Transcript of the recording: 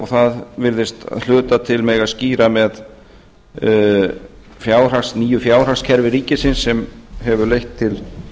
það virðist að hluta til mega að skýra með nýju fjárhagskerfi ríkisins sem hefur leitt til